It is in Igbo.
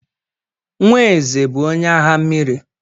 Nwa eze bụ onye agha mmiri.